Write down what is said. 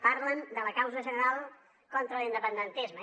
parlen de la causa general contra l’independentisme